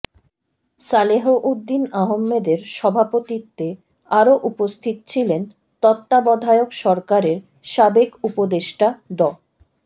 সালেহউদ্দিন আহমেদের সভাপতিত্বে আরও উপস্থিত ছিলেন তত্ত্বাবধায়ক সরকারের সাবেক উপদেষ্টা ড